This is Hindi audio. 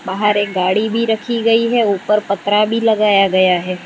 बाहर एक गाड़ी भी रखी गई है ऊपर पत्रा भी लगाया गया है।